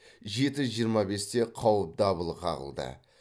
жеті жиырма бесте қауіп дабылы қағылды